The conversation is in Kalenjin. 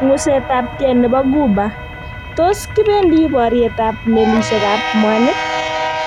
Ngusetabgei nebo Ghuba:Tos kibendi boryetab melisiekab mwanik?